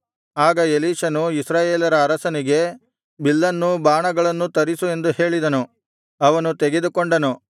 ಆಗ ಎಲೀಷನು ಇಸ್ರಾಯೇಲರ ಅರಸನಿಗೆ ಬಿಲ್ಲನ್ನೂ ಬಾಣಗಳನ್ನೂ ತರಿಸು ಎಂದು ಹೇಳಿದನು ಅವನು ತೆಗೆದುಕೊಂಡನು